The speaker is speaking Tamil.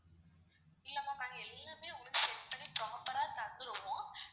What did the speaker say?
இல்ல ma'am நாங்க எல்லாமே உங்களுக்கு set பண்ணி proper ஆ தந்துருவோம்.